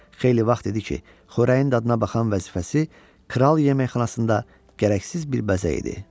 Xeyli vaxt idi ki, xörəyin dadına baxan vəzifəsi kral yeməkxanasında gərəksiz bir bəzək idi.